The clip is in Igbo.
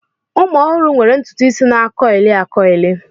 Ụmụ ọhụrụ nwere ntutu isi na a kuili a kuili.